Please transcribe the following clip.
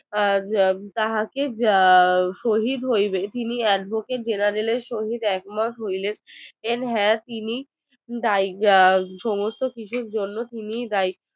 আহ তাহাকে শহীদ হইবে তিনি advocate general এর সঙ্গে একমত হইলেন হ্যাঁ তিনি সমস্ত কিছুর জন্য তিনি দায়ী